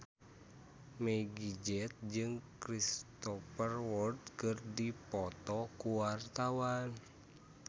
Meggie Z jeung Cristhoper Waltz keur dipoto ku wartawan